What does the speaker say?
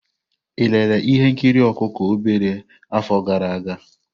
Ị lere ihe nkiri ọkụkọ obere afọ gara aga?